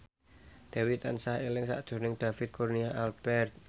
Dewi tansah eling sakjroning David Kurnia Albert